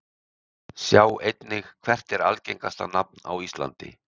Sjá einnig: Hvert er algengasta nafn á íslandi?